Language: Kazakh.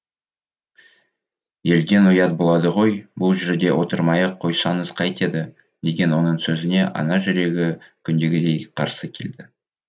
елден ұят болады ғой бұл жерде отырмай ақ қойсаңыз кайтеді деген оның сөзіне ана жүрегі күндегідей қарсы келді